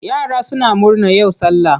Yara suna murna yau sallah.